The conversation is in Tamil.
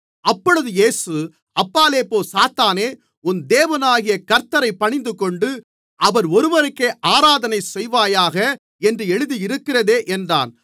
அப்பொழுது இயேசு அப்பாலே போ சாத்தானே உன் தேவனாகிய கர்த்த்தரைப் பணிந்துகொண்டு அவர் ஒருவருக்கே ஆராதனை செய்வாயாக என்று எழுதியிருக்கிறதே என்றார்